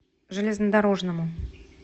железнодорожному